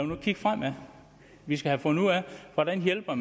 nu kigge fremad vi skal have fundet ud af hvordan hjælper